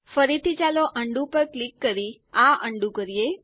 ફરીથી ચાલો ઉંડો પર ક્લિક કરી આ અન્ડું કરીએ